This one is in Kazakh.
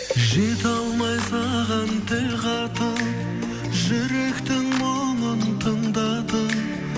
жете алмай саған тіл қатып жүректің мұңын тыңдатып